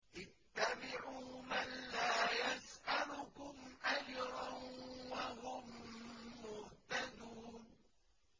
اتَّبِعُوا مَن لَّا يَسْأَلُكُمْ أَجْرًا وَهُم مُّهْتَدُونَ